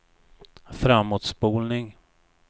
framåtspolning